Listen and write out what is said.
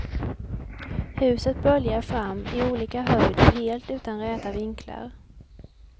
Huset böljar fram, i olika höjd och helt utan räta vinklar.